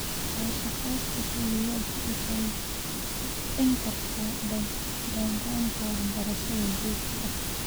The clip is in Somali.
Wadashaqeynta kulliyaddu waxay kobcin kartaa dhaqanka waxbarasho joogto ah.